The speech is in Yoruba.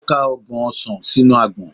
O ka ọgbọn osàn sinu agbọn..